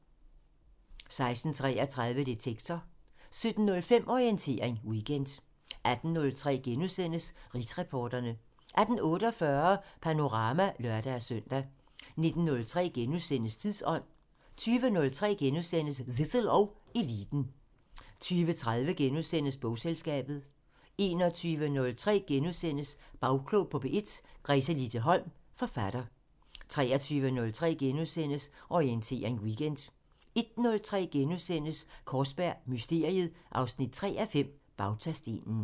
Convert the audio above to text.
16:33: Detektor 17:05: Orientering Weekend 18:03: Rigsretsreporterne * 18:48: Panorama (lør-søn) 19:03: Tidsånd * 20:03: Zissel og Eliten * 20:30: Bogselskabet * 21:03: Bagklog på P1: Gretelise Holm, forfatter * 23:03: Orientering Weekend * 01:03: Kaarsberg Mysteriet 3:5 – Bautastenen *